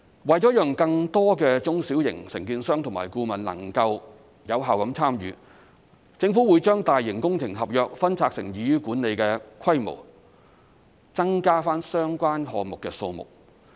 為了讓更多中小型承建商和顧問能夠有效參與，政府會把大型工程合約分拆成易於管理的規模，增加相關項目的數目。